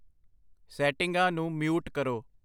ਸੈਟਿੰਗਾਂ ਨੂੰ ਮਿਊਟ ਕਰੋ।